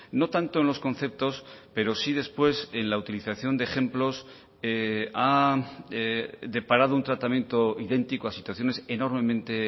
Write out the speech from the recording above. no tanto en los conceptos pero sí después en la utilización de ejemplos ha deparado un tratamiento idéntico a situaciones enormemente